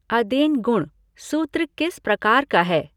अदेङ् गुणः सूत्र किस प्रकार का है?